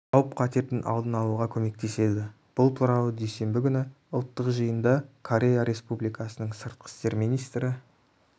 қауіп-қатердің алдын алуға көмектеседі бұл туралы дүйсенбі күні ұлттық жиында корея республикасының сыртқы істер министрі